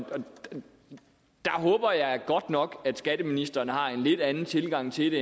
der håber jeg godt nok at skatteministeren har en lidt anden tilgang til det